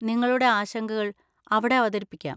നിങ്ങളുടെ ആശങ്കകൾ അവിടെ അവതരിപ്പിക്കാം.